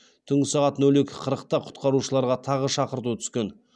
түнгі сағат нөл екі қырықта құтқарушыларға тағы шақырту түскен